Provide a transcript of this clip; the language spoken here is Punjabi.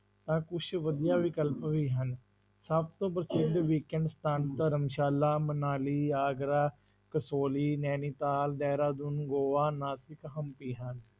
ਤਾਂ ਕੁਛ ਵਧੀਆ ਵਿਕਲਪ ਵੀ ਹਨ, ਸਭ ਤੋਂ ਪ੍ਰਸਿੱਧ weekend ਸਥਾਨ ਧਰਮਸ਼ਾਲਾ, ਮਨਾਲੀ, ਆਗਰਾ, ਕਸ਼ੋਲੀ, ਨੈਣੀਤਾਲ, ਦਹਿਰਾਦੂਨ, ਗੋਆ, ਨਾਸਿਕ, ਹੰਪੀ ਹਨ।